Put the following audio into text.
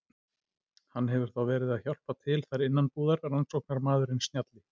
Hann hefur þá verið að hjálpa til þar innanbúðar, rannsóknarmaðurinn snjalli.